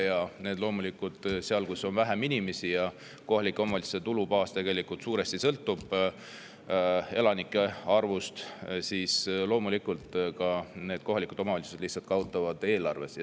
Ja loomulikult seal, kus on vähem inimesi – kohalike omavalitsuste tulubaas sõltub tegelikult suuresti elanike arvust –, kohalikud omavalitsused lihtsalt kaotavad eelarves.